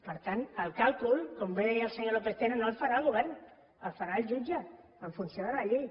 per tant el càlcul com bé deia el senyor lópez tena no el farà el govern el farà el jutge en funció de la llei